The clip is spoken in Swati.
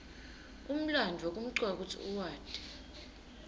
umlandvo kumcoka kutsi uwati